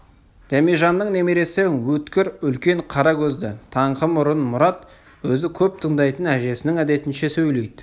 дәмежанның немересі өткір үлкен қара көзді таңқы мұрын мұрат өзі көп тыңдайтын әжесінің әдетінше сөйлейді